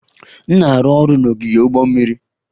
M na-arụ ọrụ n'ogige ụgbọ mmiri.